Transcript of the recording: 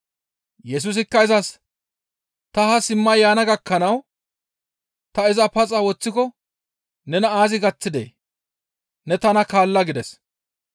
Yesusikka izas, «Ta haa simma yaana gakkanawu ta iza paxa woththiko nena aazi gaththidee? Ne tana kaalla» gides.